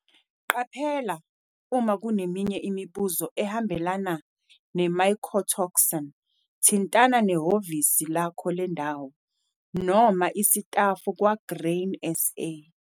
Qaphela, uma kuneminye imibuzo ehambelana ne-mycotoxin, thintana nehhlovisi lakho lendawo, noma isitafu kwa-Grain SA.